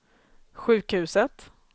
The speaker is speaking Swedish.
sjukhuset